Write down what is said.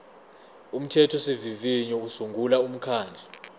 umthethosivivinyo usungula umkhandlu